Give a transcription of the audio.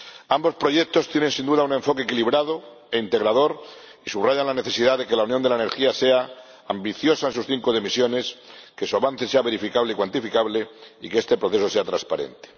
Ambos proyectos tienen sin duda un enfoque equilibrado e integrador y subrayan la necesidad de que la Unión de la Energía sea ambiciosa en sus cinco dimensiones, que su avance sea verificable y cuantificable y que este proceso sea transparente.